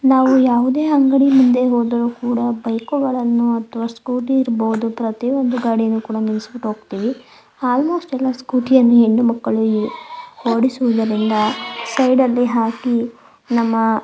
ನಾವು ಯಾವುದೇ ಅಂಗಡಿ ಮುಂದೆ ಹೋದರು ಕೂಡ ಬೈಕ್ ಗಳನ್ನು ಅಥವಾ ಸ್ಕೂಟಿ ಇರ್ಬಹುದು ಪ್ರತಿಯೊಂದು ಗಾಡಿನು ನಾವು ನಿಲ್ಲಿಸ್ಬಿಟ್ಟು ಹೋಗ್ತಿವಿ. ಹಾಗು ಕೆಲವು ಸ್ಕೂಟಿ ಯನ್ನು ಹೆಣ್ಣು ಮಕ್ಕಳು ಓಡಿಸುವುದರಿಂದ ಸೈಡ್ ಅಲ್ಲಿ ಹಾಕಿ ನಮ್ಮ--